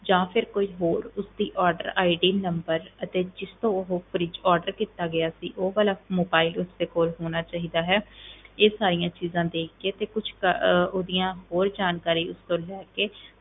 ਜਾਂ ਫਿਰ ਕੋਈ ਹੋਰ ਉਸਦੀ order ID number ਅਤੇ ਜਿਸ ਤੋਂ ਉਹ fridge order ਕੀਤਾ ਗਿਆ ਸੀ, ਉਹ ਵਾਲਾ mobile ਉਸਦੇ ਕੋਲ ਹੋਣਾ ਚਾਹੀਦਾ ਹੈ ਇਹ ਸਾਰੀਆਂ ਚੀਜ਼ਾਂ ਦੇਖ ਕੇ ਤੇ ਕੁਛ ਕ~ ਅਹ ਉਹਦੀਆਂ ਹੋਰ ਜਾਣਕਾਰੀ ਉਸ ਤੋਂ ਲੈ ਕੇ